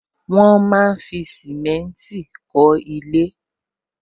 Wọn máa ń fi simenti kọ ilé